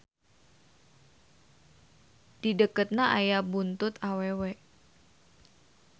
Dideketna aya buntut awewe.